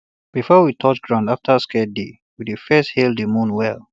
before we touch ground after scared day we first hail the moon well